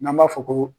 N'an b'a fɔ ko